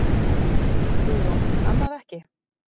Guðrún: Annað ekki?